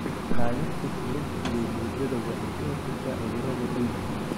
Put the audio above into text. Qaadista shilinta iyo boodada waxay ka hortagtaa cudurada dhiiga.